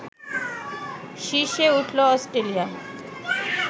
শীর্ষে উঠল অস্ট্রেলিয়া